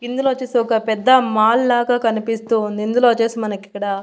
ఇందులో వొచ్చేసి ఒక పెద్ద మాల్ లాగా కనిపిస్తూ ఉంది. ఇందులో వొచ్చేసి మనకి ఇక్కడ --